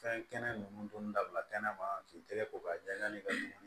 Fɛn kɛnɛ ninnu dun dabila kɛnɛma k'i tɛgɛ ko k'a jɛ n ka